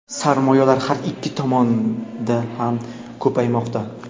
sarmoyalar har ikki tomonda ham ko‘paymoqda.